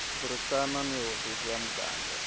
burisana ni hofisi ya muganga